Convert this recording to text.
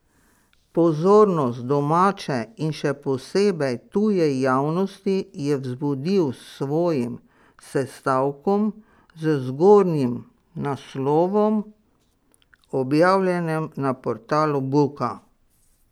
Pozornost domače in še posebej tuje javnosti je vzbudil s svojim sestavkom z zgornjim naslovom, objavljenem na portalu Buka.